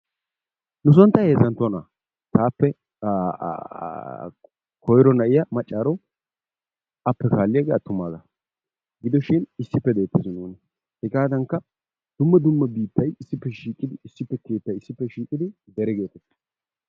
Nuson ta heezzantto na'a. taappe koyiro na'iya maccaaro appe kaalliyagee attumaagaa gidoshin issippe doosu hegaadaanikka dumma dumma biittay issippe shiiqidi issippetettan issippe shiiqidi dere geettes.